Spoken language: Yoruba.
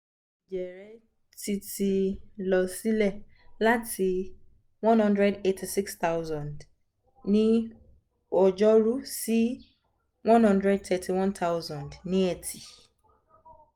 iye ẹjẹ rẹ ti ti lọ silẹ lati one hundred eighty six thousand ni ọjọru si one hundred thirty one thousand ni eti